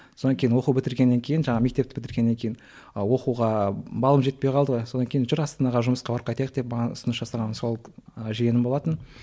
сонан кейін оқу бітіргеннен кейін жаңағы мектеп бітіргеннен кейін ы оқуға балым жетпей қалды ғой содан кейін жүр астанаға жұмысқа барып қайтайық деп маған ұсыныс жасаған сол ы жиенім болатын